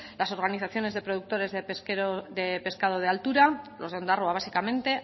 las organizaciones de productores de pescado de altura los de ondarroa básicamente